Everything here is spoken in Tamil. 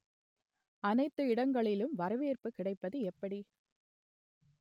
அனைத்து இடங்களிலும் வரவேற்பு கிடைப்பது எப்படி